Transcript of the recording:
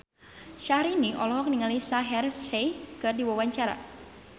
Syahrini olohok ningali Shaheer Sheikh keur diwawancara